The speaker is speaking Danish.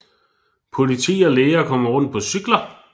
Politi og læger kommer rundt på cykler